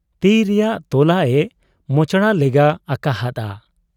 ᱛᱤ ᱨᱮᱭᱟᱜ ᱛᱚᱞᱟᱜ ᱮ ᱢᱚᱪᱲᱟᱣ ᱞᱮᱜᱟ ᱟᱠᱟ ᱦᱟᱫ ᱟ ᱾